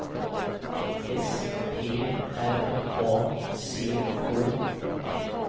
S P R A C K